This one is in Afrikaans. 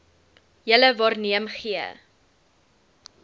julle waarneem gee